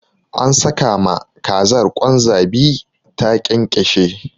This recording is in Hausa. An saka ma kazar kwan zabi ta ƙyanƙyashe.